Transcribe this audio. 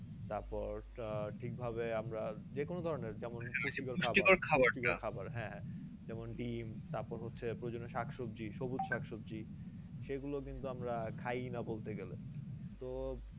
তারপর আহ ঠিকভাবে আমরা যে কোনো ধরণের যেমন হ্যাঁ যেমন ডিম তারপরে হচ্ছে প্রয়োজন শাক সবজি সবুজ শাক সবজি সেগুলো কিন্তু আমরা খাইনা বলতে গেলে তো